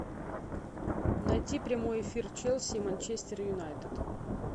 найти прямой эфир челси и манчестер юнайтед